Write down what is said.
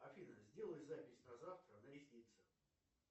афина сделай запись на завтра на ресницы